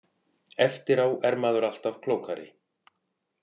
Eftir á er maður alltaf klókari.